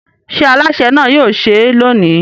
Ṣé alásè náà yóò sè é lónìí?